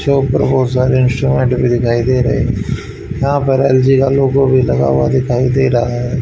चौक पर बहुत सारे इंस्ट्रूमेंट भी दिखाई दे रहे यहां पर एल_जी का लोगो भी लगा हुआ दिखाई दे रहा है।